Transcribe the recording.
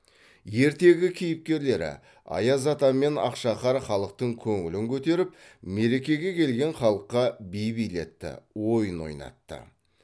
ертегі кейіпкерлері аяз ата мен ақша қар халықтың көңілін көтеріп мерекеге келген халыққа би билетті ойын ойнатты